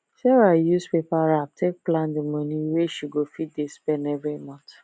sarah use paper wrap take plan the money wey she go fit dey spend every month